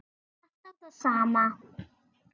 Alltaf það sama.